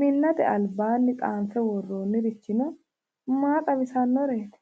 Minnate albaanni tsaanfe worroonnirichino maa xawissannoreeti?